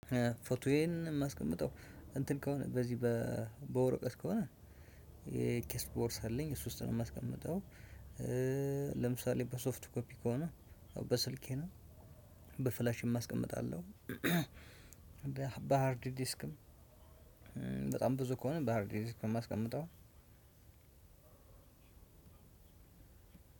ፎቶዬን የማስቀምጠው እንትን ከሆነ በዚህ በ በወረቀት ከሆነ የኪስ ቦርስ አለኝ እሱ ውስጥ ነው የማስቀምጠው እ ለምሳሌ በሶፍት ኮፒ ከሆነ በስልኬ ነው በፍላሽም አስቀምጣለሁ። በሃርድ ዲስክም እ በጣም ብዙ ከሆነ በሃርድ ደስ ከማስቀምጠው